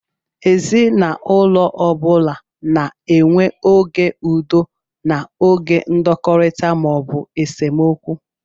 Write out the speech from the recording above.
Ezinaụlọ ọ bụla na-enwe oge udo na oge ndọkọrita (esemokwu).